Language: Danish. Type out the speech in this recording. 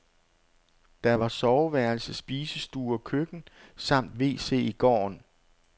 Der var soveværelse, spisestue og køkken samt wc i gården.